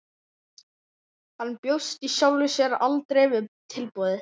Hann bjóst í sjálfu sér aldrei við tilboði.